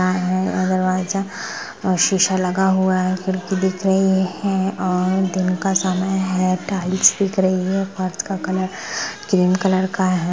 --और दरवाजा सीसा लगा हुआ है खिड़की दिख रही है और दिन का समय है टाइल्स दिख रही है फ़र्श का कलर क्रीम कलर का हैं ।